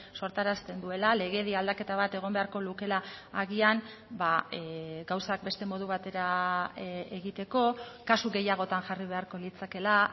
sortarazten duela legedi aldaketa bat egon beharko lukela agian gauzak beste modu batera egiteko kasu gehiagotan jarri beharko litzakela